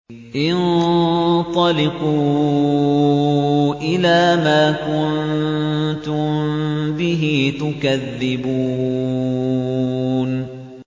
انطَلِقُوا إِلَىٰ مَا كُنتُم بِهِ تُكَذِّبُونَ